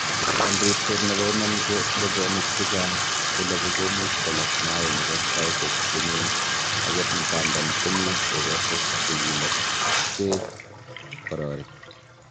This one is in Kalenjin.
En ribset nebo iman, ko ngogenik che chang che loogu komuch kolog mainik en saisiek che nen agot ngandan komi ekosiek che silokse kororik.